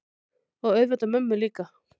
Og auðvitað mömmu líka.